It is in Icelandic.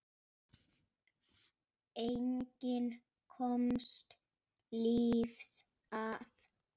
Enginn komst lífs af.